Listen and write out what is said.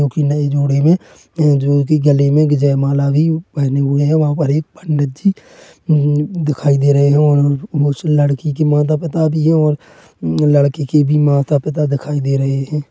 जोकी नई जोड़ी में हैं जोकी गले में भी जयमाला भी पहने हुए हैं वहां पर एक पंडित जी। दिखाई दे रहे हैं और उस लड़की के माता-पिता भी है और लड़के के भी माता-पिता दिखाई दे रहे हैं।